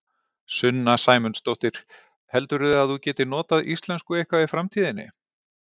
Sunna Sæmundsdóttir: Heldurðu að þú getir notað íslensku eitthvað í framtíðinni?